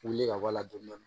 Wuli ka bɔ a la dɔni dɔni